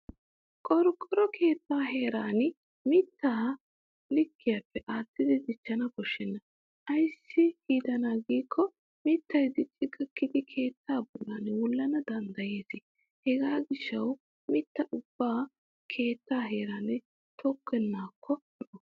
Qorqqoro keettaa heeran mittaa likkiyaape aattidi dichchana koshshenna. Ayssi giidanaa giikko mittay dicci gakkidi keettaa bollan wullana danddayes hegaa gishshawu mittaa ubba keettaa heeran tokkennaakko lo'o.